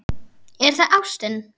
Er það ástin?